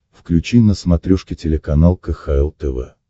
включи на смотрешке телеканал кхл тв